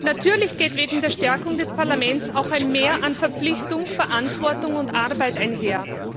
Natürlich geht mit der Stärkung des Parlaments auch ein Mehr an Verpflichtung, Verantwortung und Arbeit einher.